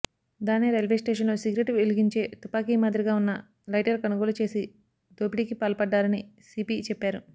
Thane railway స్టేషన్లో cigarette వెలుగించే తుపాకీ మాదిరిగా ఉన్న లైటర్ కొనుగోలు చేసి దోపిడీకి పాల్పడారని సీపీ చెప్పారు